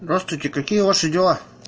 здравствуйте какие ваши дела